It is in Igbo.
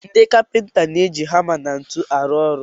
Ndi kapịnta na-eji hama na ntu arụ ọrụ.